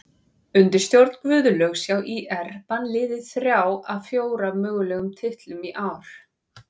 Undir stjórn Guðlaugs hjá ÍR vann liðið þrjá af fjóra mögulegum titlum í ár.